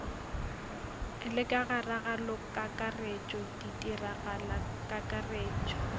le ka ga ragalokakaretšo ditiragalokakaretšo